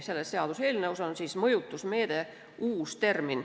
Selles seaduseelnõus on uus termin "mõjutusmeede".